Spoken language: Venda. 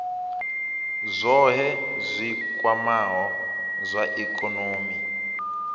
zwohe zwi kwamaho zwa ikonomi